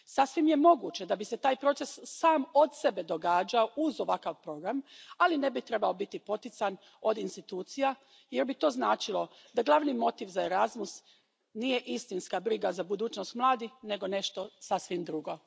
Sasvim je moguće da bi se taj proces sam od sebe događao uz ovakav program, ali ne bi trebao biti potican od institucija jer to bi to značilo da glavni motiv za Erasmus nije istinska briga za budućnost mladih nego nešto sasvim drugo.